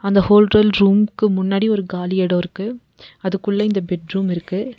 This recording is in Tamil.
இந்த ஹோட்டல் ரூம்க்கு முன்னாடி ஒரு காலியா எடோ இருக்கு அதுக்குள்ள இந்த பெட் ரூம் இருக்கு.